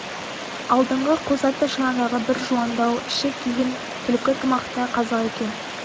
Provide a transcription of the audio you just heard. алдыңғы қос атты шанадағы бір жуандау ішік киген түлкі тымақты қазақ екен